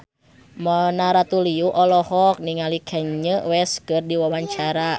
Mona Ratuliu olohok ningali Kanye West keur diwawancara